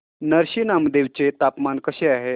नरसी नामदेव चे तापमान कसे आहे